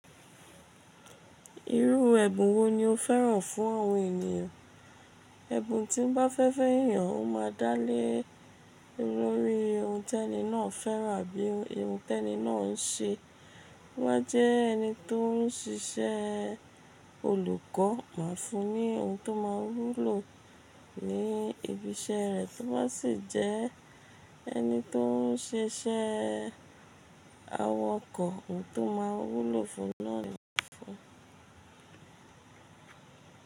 Irú ẹ̀bùn wo ni o fẹ́ràn fún àwọn ènìyàn? Ẹ̀bùn tí ń bá fẹ́ fẹ́ ènìyàn, ó máa dáĺ lórí ohun tẹni náà fẹ́ràn bí ohun tẹni náà ń ṣe. To bá jẹ́ ẹni tó ń ṣiṣẹ́ olùkọ́, má fún un ní ohun tó máa wúlò ní ibi iṣẹ́ rẹ̀. Tó bá sì jẹ́ ẹni tó ń ṣe iṣẹ́ àwọkọ̀, ohun tó máa wúlò fún lọ́ìnì fún un.